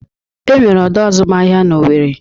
Enwere ọdọ azụmahịa n'Owere.